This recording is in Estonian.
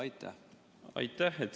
Aitäh!